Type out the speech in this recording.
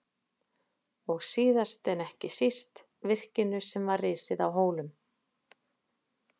Og síðast en ekki síst: virkinu sem var risið á Hólum.